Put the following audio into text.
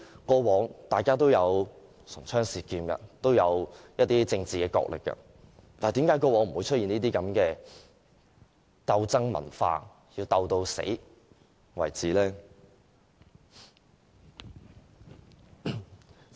過往大家也會唇槍舌劍、進行政治角力，但為何不會出現鬥爭文化，要鬥到你死我亡為止呢？